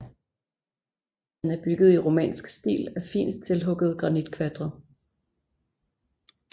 Den er bygget i romansk stil af fint tilhuggede granitkvadre